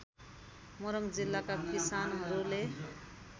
मोरङ जिल्लाका किसानहरूले